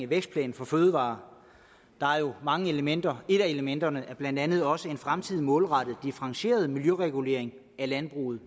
vækstplanen for fødevarer jo er mange elementer et af elementerne er blandt andet også en fremtidig målrettet differentieret miljøregulering af landbruget